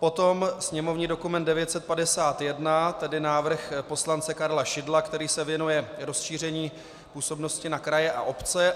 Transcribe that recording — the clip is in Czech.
Potom sněmovní dokument 951, tedy návrh poslance Karla Šidla, který se věnuje rozšíření působnosti na kraje a obce.